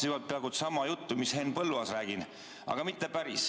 Ma räägin peaaegu sama juttu mis Henn Põlluaas, aga mitte päris.